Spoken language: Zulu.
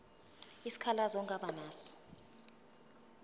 isikhalazo ongaba naso